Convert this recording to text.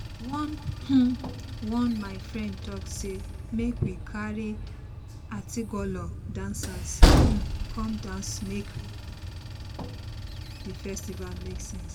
one um one my friend talk say make we carry atilogwu dancers um come dance to make the festival make sense